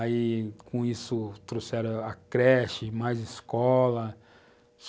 Aí, com isso, trouxeram a creche, mais escola.